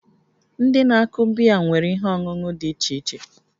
Ndị na-akụ biya nwere ihe ọṅụṅụ dị iche iche